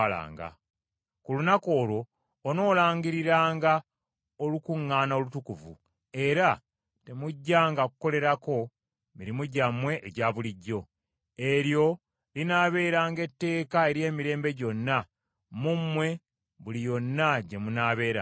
Ku lunaku olwo onoolangiriranga olukuŋŋaana olutukuvu; era temujjanga kukolerako mirimu gyammwe egya bulijjo. Eryo linaabeeranga etteeka ery’emirembe gyonna mu mmwe buli yonna gye munaabeeranga.